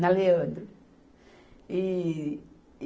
Na Leandro. E, e